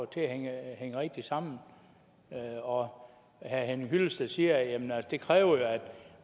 til at hænge rigtig sammen herre herre henning hyllested siger at det kræver at